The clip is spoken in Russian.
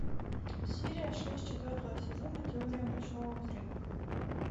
серия шесть четвертого сезона теория большого взрыва